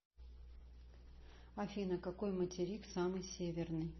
афина какой материк самый северный